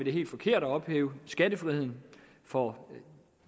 er helt forkert at ophæve skattefriheden for